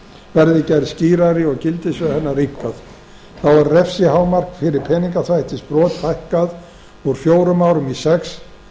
verði gerð skýrari og gildissvið hennar rýmkað þá er refsihámark fyrir peningaþvættisbrot hækkað úr fjórum árum í sex